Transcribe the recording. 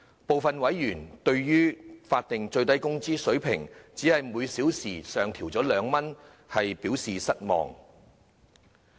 部分委員對於法定最低工資水平只是每小時上調2元，表示失望。